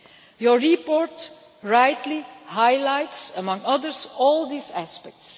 Your report rightly highlights, among others, all these aspects.